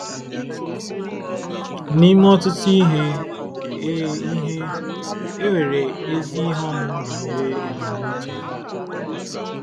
N’ime ọtụtụ ihe, e ihe, e nwere ezi ihe ọmụma banyere ebumnuche Ya.